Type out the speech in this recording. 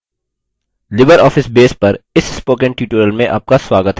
libreoffice base पर इस spoken tutorial में आपका स्वागत है